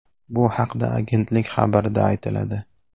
Bu haqda agentlik xabarida aytiladi .